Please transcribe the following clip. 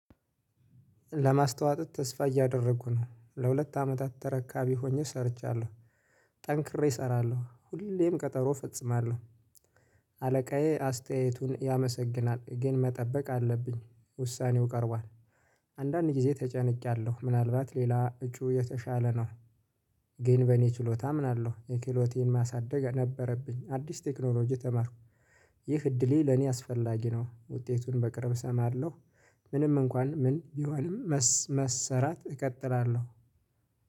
ለማስታወጥ ተስፋ እያደረጉ ነው ለሁለት አመታት ተረካቢ ሆኜ ሰርቻለሁ ጠንክሬ እሰራለሁ ሁሌም ቀጠሮ ፈጽማለሁ። አለቃዬ አስተያየቱን ያመሰግናል ግን መጠበቅ አለብኝ ውሳኔው ቀርቧል። አንዳንድ ጊዜ ተጨንቄያለሁ ምናልባት ሌላ እጩ የተሻለ ነው። ግን በእኔ ችሎታ አምናለሁ የክህሎቴን ማሳደግ ነበረብኝ አዲስ ቴክኖሎጂ ተማርኩ። ይህ እድሌ ለኔ አስፈላጊ ነው ውጤቱን በቅርብ እሰማለሁ። ምንም እንኳን ምን ቢሆንም መሰራት እቀጥራለሁ